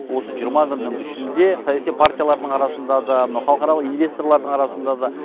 осы жиырма күннің ішінде саяси партиялардың арасында да мынау халықаралық инвесторлардың арасында да